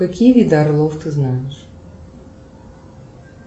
какие виды орлов ты знаешь